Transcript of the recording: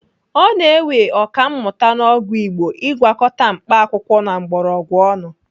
Ọ na-ewe Ọkammụta n'ọgwụ igbo Ị gwakọta mkpaakwụkwọ na mgbọrọgwụ ọnụ.